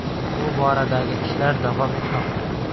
Bu boradagi ishlar davom etmoqda.